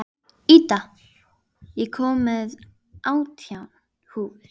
Ída, ég kom með átján húfur!